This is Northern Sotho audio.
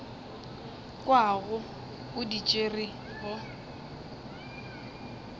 kwago o di tšere go